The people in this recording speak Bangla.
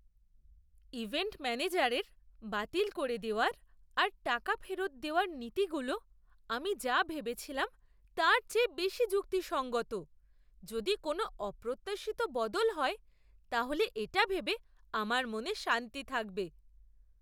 ইভেন্ট ম্যানেজারের বাতিল করে দেওয়ার আর টাকা ফেরত দেওয়ার নীতিগুলো আমি যা ভেবেছিলাম তার চেয়ে বেশি যুক্তিসঙ্গত। যদি কোনো অপ্রত্যাশিত বদল হয় তাহলে এটা ভেবে আমার মনে শান্তি থাকবে।